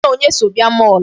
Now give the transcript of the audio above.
Gị na onye so bịa mall?